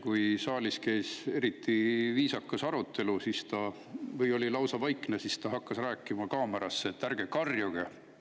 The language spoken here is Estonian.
Kui saalis käis eriti viisakas arutelu või oli lausa vaikne, siis ta hakkas rääkima kaamerasse: "Ärge karjuge!